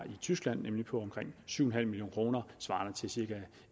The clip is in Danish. i tyskland nemlig på omkring syv million kroner svarende til cirka